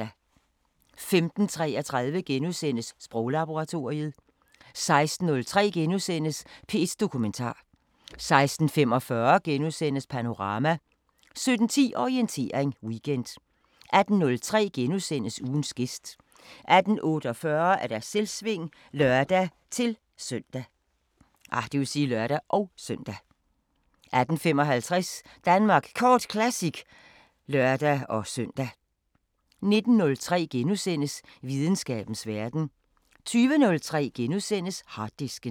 14:03: Kulturlørdag 15:33: Sproglaboratoriet * 16:03: P1 Dokumentar * 16:45: Panorama * 17:10: Orientering Weekend 18:03: Ugens gæst * 18:48: Selvsving (lør-søn) 18:55: Danmark Kort Classic (lør-søn) 19:03: Videnskabens Verden * 20:03: Harddisken *